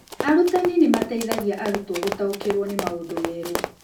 Arutani nĩ mateithagia arutwo gũtaũkĩrũo nĩ maũndũ merũ.